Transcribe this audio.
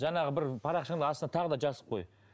жаңағы бір парақшаңды аш та тағы да жазып қой